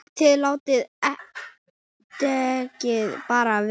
ÞIÐ LÁTIÐ DEKKIN BARA VERA!